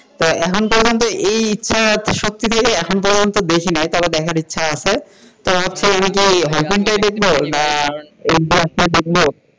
তো এখনও পর্যন্ত এই ইচ্ছ , এখন বেশি নায়িকাকে দেখার ইচ্ছা আছে তো আসলে কি hall print দেখব না hq আসলে দেখব?